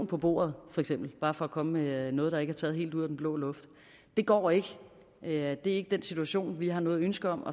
på bordet bare for at komme med noget der ikke er taget helt ud af den blå luft det går ikke det er ikke den situation vi har noget ønske om